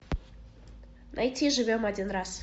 найти живем один раз